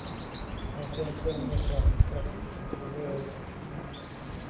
Hans sämsta ämne var franska, en tvåa i avgångsbetyg.